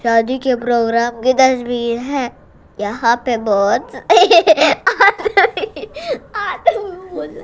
शादी के प्रोग्राम की तस्वीर है यहां पे बहुत--